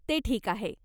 ते ठीक आहे.